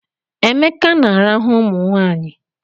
Emeka na-arahụ ụmụnwaanyị